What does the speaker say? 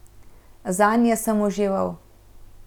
Zanje sem užival.